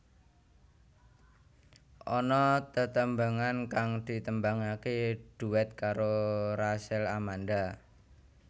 Ana tetembangan kang ditembangaké duet karo Rachel Amanda